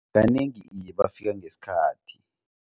Kanengi iye bafika ngesikhathi.